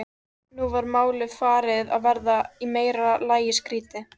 Nú var málið farið að verða í meira lagi skrýtið.